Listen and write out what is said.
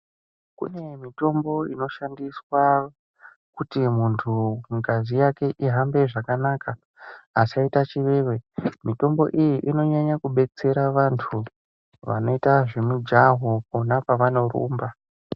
Kune mitombo inoshandiswa kuti muntu ngazi yake ihambe zvakanaka asaita chiveve. Mitombo iyi inonyanya kubetsera vantu vanoita zvemijaho pona pavanorumba.